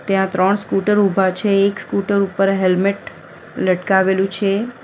ત્યાં ત્રણ સ્કૂટર ઊભા છે એક સ્કૂટર ઉપર હેલ્મેટ લટકાવેલું છે.